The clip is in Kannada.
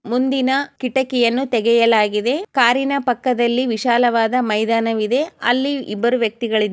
ಮುಂದಿನ ಕಿಟಕಿಯನು ತೆಗೆಯಲಾಗಿದೆ ಕಾರಿನ ಪಕ್ಕದಲಿ ವಿಶಾಲವಾದ ಮೈದಾನವಿದೆ ಇಲ್ಲಿ ಇಬ್ಬರು ವ್ಯಕ್ತಿಗಳ ---